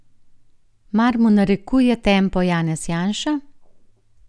Mar mu narekuje tempo Janez Janša?